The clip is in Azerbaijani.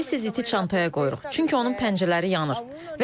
Tez-tez iti çantaya qoyuruq, çünki onun pəncərələri yanır.